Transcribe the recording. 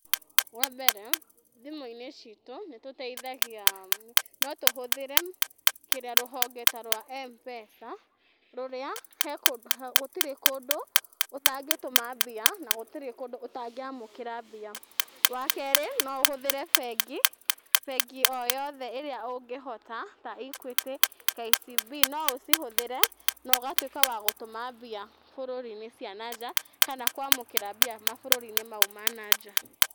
Wambere thimũ-inĩ citũ nĩ tũteithagia, no tũhũthĩre rũhonge ta rwa Mpesa, rũrĩa gũtirĩ kũndũ gũtangĩtũma mbia na gũtirĩ kũndũ ũtangĩamũkĩra mbia, wakerĩ no ũhũthĩre bengi, bengi o yothe ĩrĩa ũgĩhota ta Equity, KCB, no ũcihũthĩre na ũgatuĩka wa gũtũma mbia bũrũri-inĩ cia na nja kana kwamũkĩra mbia mabũrũri-inĩ mau ma na nja.